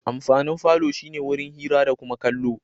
Amfanin falo shi ne wurin hira da kuma kallo.